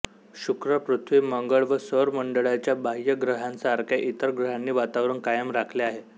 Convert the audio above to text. शुक्र पृथ्वी मंगळ व सौर मंडळाच्या बाह्य ग्रहांसारख्या इतर ग्रहांनी वातावरण कायम राखले आहे